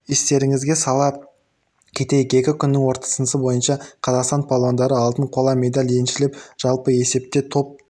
естеріңізге сала кетейік екі күннің қорытындысы бойынша қазақстан палуандары алтын қола медаль еншілеп жалпы есепте топ